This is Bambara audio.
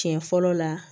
Siɲɛ fɔlɔ la